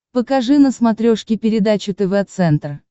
покажи на смотрешке передачу тв центр